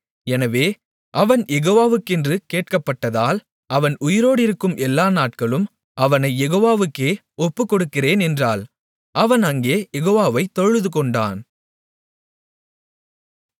எனவே அவன் யெகோவாவெக்கென்று கேட்கப்பட்டதால் அவன் உயிரோடிருக்கும் எல்லா நாட்களும் அவனைக் யெகோவாவுக்கே ஒப்புக்கொடுக்கிறேன் என்றாள் அவன் அங்கே யெகோவாவைத் தொழுதுகொண்டான்